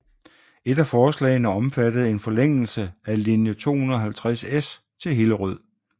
Et af forslagene omfattede en forlængelse af linje 250S til Hillerød